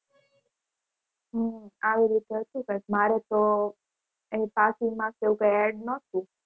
હમ આવી રીતે હતું કંઈક મારે તો એ passing marks એવું કંઈ એડ ન થયું.